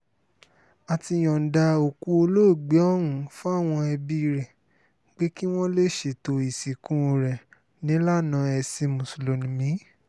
a ti yọ̀ǹda òkú olóògbé ọ̀hún fáwọn ẹbí rẹ̀ pé kí wọ́n lè ṣètò ìsìnkú rẹ̀ nílànà ẹ̀sìn mùsùlùmí